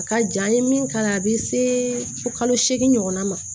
A ka jan an ye min k'a la a bɛ se fo kalo seegin ɲɔgɔnna ma